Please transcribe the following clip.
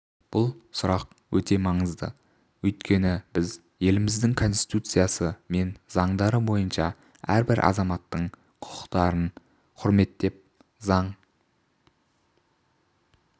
бұл сұрақ өте маңызды өйткені біз еліміздің конституциясы мен заңдары бойынша әрбір азаматтың құқықтарын құрметтеп заң